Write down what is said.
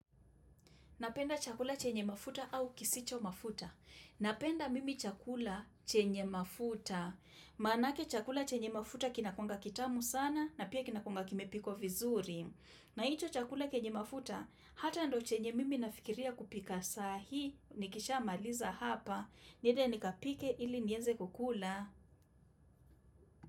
Napenda chakula chenye mafuta au kisicho mafuta. Napenda mimi chakula chenye mafuta. Manake chakula chenye mafuta kinakuwanga kitamu sana na pia kinakuwanga kimepikwa vizuri. Na hicho chakula chenye mafuta hata ndo chenye mimi nafikiria kupika saa hii, nikishamaliza hapa, niende nikapike ili niweze kukula.